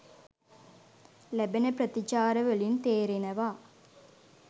ලැබෙන ප්‍රතිචාරවලින් තේරෙනවා.